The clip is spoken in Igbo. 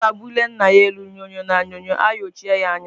Nwata bulie Nna ya elu nyo-nyo na Nyo-nyo ayochie ya anya.